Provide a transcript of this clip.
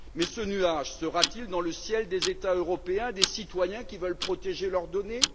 Mais ce nuage sera t il dans le ciel des États européens, des citoyens qui veulent protéger leurs données?